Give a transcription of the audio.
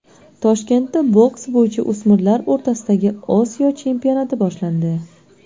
Toshkentda boks bo‘yicha o‘smirlar o‘rtasidagi Osiyo chempionati boshlandi.